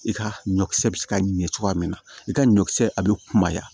I ka ɲɔ kisɛ bɛ se ka ɲɛ cogoya min na i ka ɲɔkisɛ a bɛ kumaya